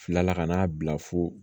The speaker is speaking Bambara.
Filala ka n'a bila fo